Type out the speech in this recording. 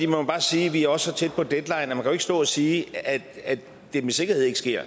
må bare sige at vi også er så tæt på deadline at man jo ikke kan stå og sige at det med sikkerhed ikke sker